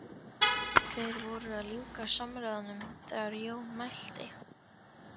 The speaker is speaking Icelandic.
Þeir voru að ljúka samræðunum þegar Jón mælti